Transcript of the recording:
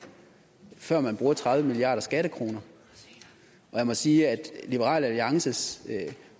før man bruger tredive milliarder skattekroner jeg må sige at liberal alliances